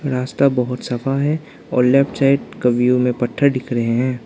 रास्ता बहोत सफा है और लेफ्ट साइड कवियों में पत्थर दिख रहे हैं।